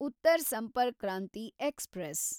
Uttar Sampark Kranti express